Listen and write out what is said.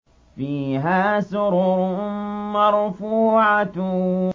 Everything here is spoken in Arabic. فِيهَا سُرُرٌ مَّرْفُوعَةٌ